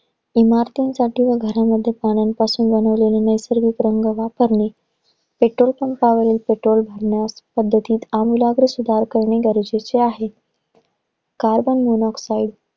इमारतींसाठी व घरामध्ये पाण्यापासून बनवलेले नैसर्गिक रंग वापरणे Petrol pump वरील petrol भरण्यास, पद्धतीत अमूलाग्र सुधार करने गरजेचे आहे. Carbon monoxide